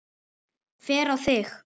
Hver á þig?